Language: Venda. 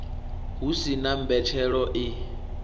hu si na mbetshelo i